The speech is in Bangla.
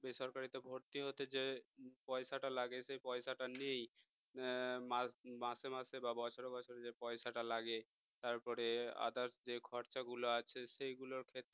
বেসরকারিতে ভর্তি হতে যে পয়সাটা লাগে সেই পয়সাটা নেই মাসে মাসে বা বছরে বছরে যে পয়সাটা লাগে তারপরে others যে খরচা গুলো আছে সেগুলোর ক্ষেত্রে